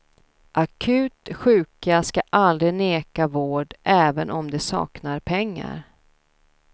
Akut sjuka skall vi aldrig neka vård även om de saknar pengar.